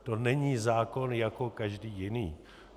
To není zákon jako každý jiný.